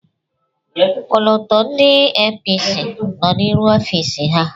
Ọkọlọtọ ndị APC nọ n'iru ọfiisi ha.